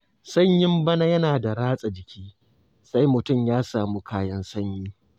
Sanyin bana yana da ratsa jiki, sai mutum ya samu kayan sanyi.